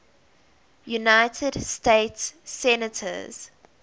united states senators